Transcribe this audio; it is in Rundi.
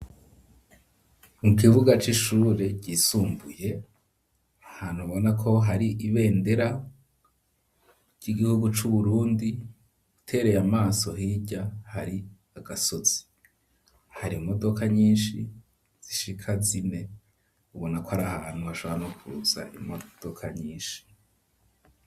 Mu kibuga c'ishure ryisumbuye ahantu ubona ko hari ibendera ry'igihugu c'uburundi utereye amaso hirya hari agasozi hari imodoka nyinshi zishika zine ubona ko arahantu hashobora no kuza imodoka nyishi.